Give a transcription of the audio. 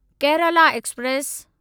Kerala express